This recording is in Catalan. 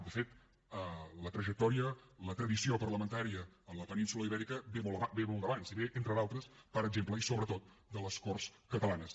de fet la trajectòria la tradició parlamentària a la península ibèrica ve molt d’abans i ve entre d’altres per exemple i sobretot de les corts catalanes